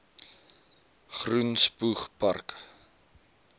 groen spoeg park